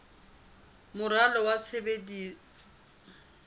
moralo wa tshebetso wa naha